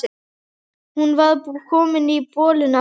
Hún var komin í bolinn aftur.